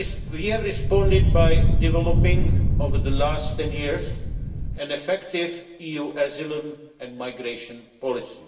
We have responded by developing, over the last 10 years, an effective EU asylum and migration policy.